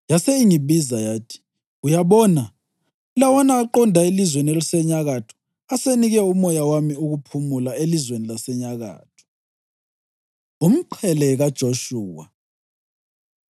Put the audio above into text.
Yase ingibiza yathi, “Uyabona, lawana aqonda elizweni elisenyakatho asenike uMoya wami ukuphumula elizweni lasenyakatho.” Umqhele KaJoshuwa